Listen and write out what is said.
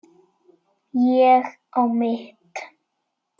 Ég á mitt.